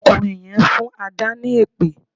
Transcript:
Ọkùnrin yẹn ń fún Adà ni èpè